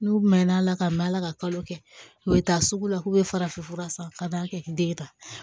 N'u mɛn'a la ka mɛn ala ka kalo kɛ u bɛ taa sugu la k'u bɛ farafinfura san ka taa kɛ den ye tan